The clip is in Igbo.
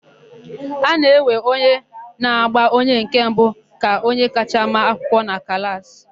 A na-ewe onye na-agba onye nke mbụ ka onye kacha ma akwụkwọ na klaasị.